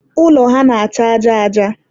ụlọ ha na-acha aja aja.